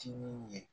Timin ye